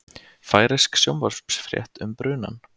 Færeysk sjónvarpsfrétt um brunann